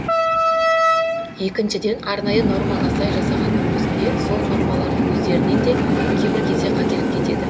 екіншіден арнайы нормаға сай жасағанның өзінде сол нормалардың өздерінен де кейбір кезде қателік кетеді